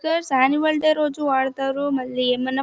ఈ annual day రోజు వాడుతారు. మళ్ళీ ఏమన్నా--